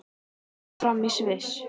Mótið fer fram í Sviss.